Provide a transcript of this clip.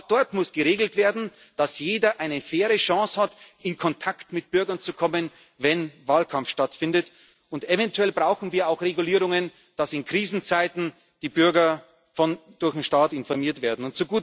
nicht? Auch dort muss geregelt werden, dass jeder eine faire Chance hat, in Kontakt mit Bürgern zu kommen, wenn Wahlkampf stattfindet. Und eventuell brauchen wir auch Regulierungen, dass in Krisenzeiten die Bürger durch den Staat informiert